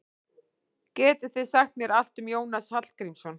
Getið þið sagt mér allt um Jónas Hallgrímsson?